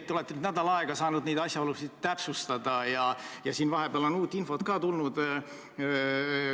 Te olete nüüd nädal aega saanud neid asjaolusid täpsustada ja vahepeal on uut infot ka tulnud.